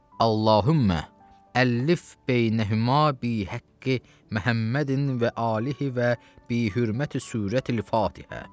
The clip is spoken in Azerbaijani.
Allahummə əlif beynəhümə bi həqqi Məhəmmədin və alihi və bi hörməti surətil-Fatihə.